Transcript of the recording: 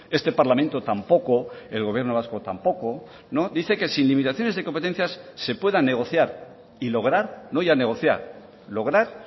este parlamento tampoco el gobierno vasco tampoco dice que sin limitaciones de competencias se pueda negociar y lograr no ya negociar lograr